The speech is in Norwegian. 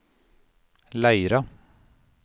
Leira